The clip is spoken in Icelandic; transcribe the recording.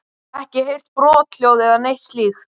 Ekki heyrt brothljóð eða neitt slíkt?